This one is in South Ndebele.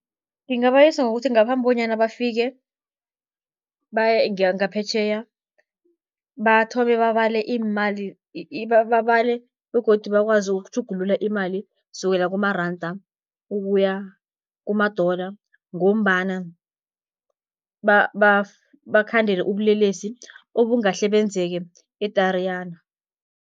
Ngingabayelelisa ngokuthi ngaphambi bonyana bafike baye ngaphetjheya, bathome babale iimali babale begodu bakwazi ukutjhugulula imali sukela kumaranda ukuya kuma-dollar, ngombana bakhandele ubulelesi obungahle benzeke eTariyana.